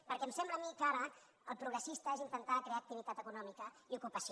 perquè em sembla a mi que ara el progressista és intentar crear activitat econòmica i ocupació